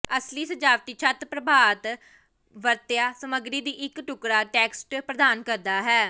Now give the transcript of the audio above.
ਅਸਲੀ ਸਜਾਵਟੀ ਛੱਤ ਪ੍ਰਭਾਵ ਵਰਤਿਆ ਸਮੱਗਰੀ ਦੀ ਇੱਕ ਟੁਕਡ਼ਾ ਟੈਕਸਟ ਪ੍ਰਦਾਨ ਕਰਦਾ ਹੈ